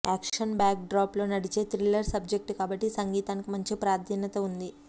action backdrop లో నడిచే thriller subject కాబట్టి సంగీతానికి మంచి ప్రాధాన్యత ఉంది